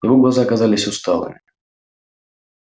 его глаза казались усталыми